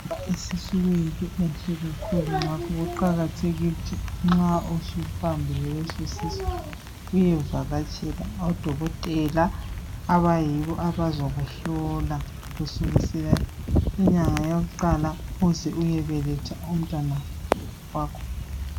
Ukuba lesisu kuyinto enhle kakhulu ngakho kuqakathekile ukuthi nxa ususibambile leso sisu uyevakatshela odokotela abayibo abazokuhlola kusukela inyanga yakuqala uze uyebeletha umntanakho.